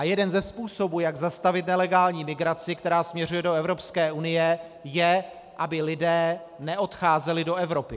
A jeden ze způsobů, jak zastavit nelegální migraci, která směřuje do Evropské unie, je, aby lidé neodcházeli do Evropy.